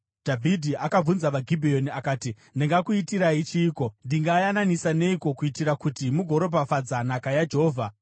Dhavhidhi akabvunza vaGibheoni akati, “Ndingakuitirai chiiko? Ndingayananisa neiko kuitira kuti mugoropafadza nhaka yaJehovha?”